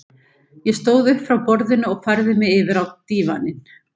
Ég stóð upp frá borðinu og færði mig yfir á dívaninn.